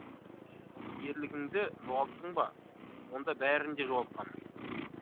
ал ерлігіңді жоғалттың ба онда бәрін де жоғалтқаның